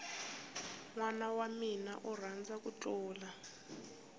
nwana wamina u rhandza ku thlula